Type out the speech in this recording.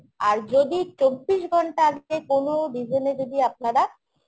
আর যদি চব্বিশ ঘণ্টা আগে কোন reason এ যদি আপনারা